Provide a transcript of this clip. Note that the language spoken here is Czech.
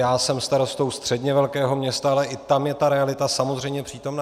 Já jsem starostou středně velkého města, ale i tam je ta realita samozřejmě přítomna.